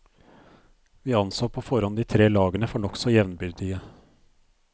Vi anså på forhånd de tre lagene for nokså jevnbyrdige.